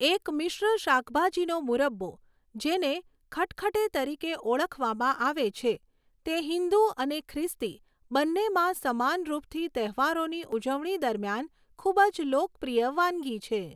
એક મિશ્ર શાકભાજીનો મુરબ્બો, જેને ખટખટે તરીકે ઓળખવામાં આવે છે, તે હિન્દુ અને ખ્રિસ્તી બંનેમાં સમાનરૂપથી તહેવારોની ઉજવણી દરમિયાન ખૂબ જ લોકપ્રિય વાનગી છે.